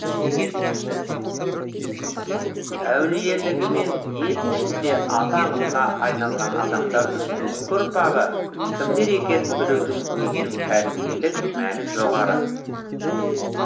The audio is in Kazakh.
әулиелігімен ел ішінде аты аңызға айналған адамдардың бүгінгі ұрпағы кімдер екенін білудің өзінің тәрбиелік мәні жоғары